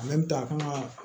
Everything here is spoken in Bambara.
a kan ka